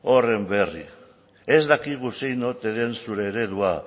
horren berri ez dakigu zein ote den zure eredua